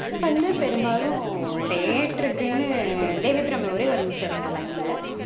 அது வந்து பெரும்பாலும் theatre க்குனு தேவி அபிராமி ஒரே ஒரு நிமிஷம் இருங்க line ல